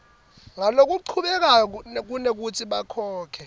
ngalokuchubekako kunekutsi bakhokhe